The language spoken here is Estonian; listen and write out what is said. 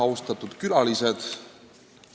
Austatud külalised!